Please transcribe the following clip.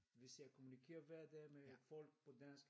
Hvis jeg kommunikerer hver dag med folk på dansk